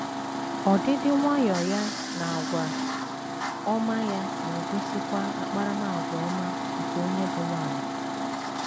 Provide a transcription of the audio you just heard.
Ọdịdị nwayọọ ya na àgwà ọma ya na - egosikwa akparamàgwà ọma nke onye bụ́ nwanyị.